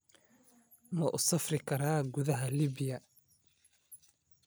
Ma u safri karaa gudaha Liibiya?